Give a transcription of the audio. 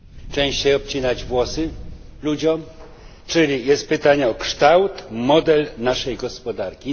Częściej obcinać włosy ludziom? Czyli jest pytanie o kształt, model naszej gospodarki.